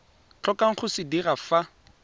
tlhokang go se dira fa